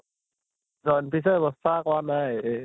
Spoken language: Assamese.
ৰ ব্য়ৱস্থা কৰা নাই এই